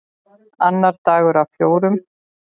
Annar dagur af fjórum.